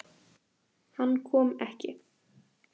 Hann kom ekki.